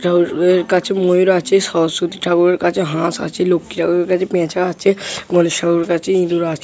কার্তিক ঠাকুর কাছে ময়ূর আছে সরস্বতী ঠাকুরের কাছে হাঁস আছে। লক্ষী ঠাকুর কাছে পেঁচা আছে গণেশ ঠাকুর কাছে ইঁদুর আছ।